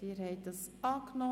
Schlussabstimmung